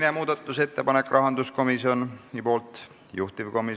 Oleme muudatusettepanekud läbi vaadanud ja juhtivkomisjoni ettepanek on eelnõu 705 teine lugemine lõpetada.